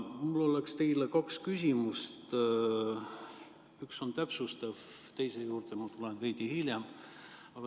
Mul on teile kaks küsimust, üks on täpsustav, teise juurde tulen veidi hiljem.